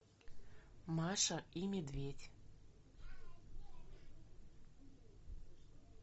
маша и медведь